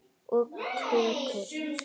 Og kökur.